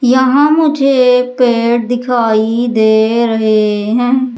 यहां मुझे पेड़ दिखाई दे रहे हैं।